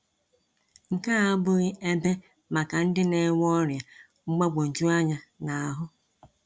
Nke a abụghị ebe maka ndị na-enwe ọrịa mgbagwoju anya n’ahụ!